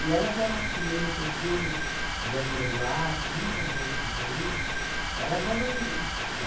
elas eram, como eu estou dizendo, Débora Duarte e muitas outras aí, elas eram mi